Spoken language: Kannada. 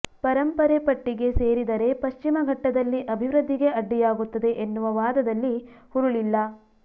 ಪರಂಪರೆ ಪಟ್ಟಿಗೆ ಸೇರಿದರೆ ಪಶ್ಚಿಮಘಟ್ಟದಲ್ಲಿ ಅಭಿವೃದ್ಧಿಗೆ ಅಡ್ಡಿಯಾಗುತ್ತದೆ ಎನ್ನುವ ವಾದದಲ್ಲಿ ಹುರುಳಿಲ್ಲ